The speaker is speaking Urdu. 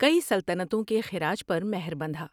کئی سلطنتوں کے خراج پر مہر بندھا ۔